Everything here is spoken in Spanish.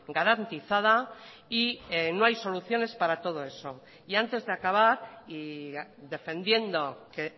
garantizada y no hay soluciones para todo eso y antes de acabar y defendiendo que